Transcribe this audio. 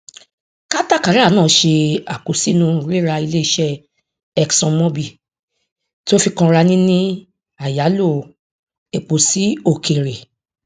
katakara náà ṣe àkósínú rírà iléiṣẹ exxonmobil tí ó fi kanra níní àyálò epo sí òkèèrè